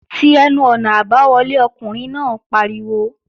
Ti ẹnu-ọ̀nà àbáwọlé! Ọkùnrin náà pariwo